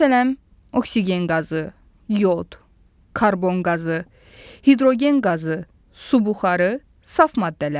Məsələn, oksigen qazı, yod, karbon qazı, hidrogen qazı, su buxarı, saf maddələrdir.